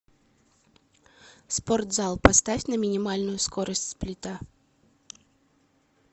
спортзал поставь на минимальную скорость сплита